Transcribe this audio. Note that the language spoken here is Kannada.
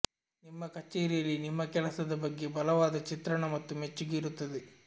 ನಿಮ್ಮ ಕಚೇರಿಯಲ್ಲಿ ನಿಮ್ಮ ಕೆಲಸದ ಬಗ್ಗೆ ಬಲವಾದ ಚಿತ್ರಣ ಮತ್ತು ಮೆಚ್ಚುಗೆ ಇರುತ್ತದೆ